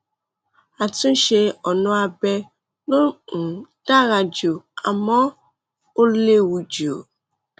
àtúnṣe ọnà abẹ ló um dára jù àmọ ó léwu jù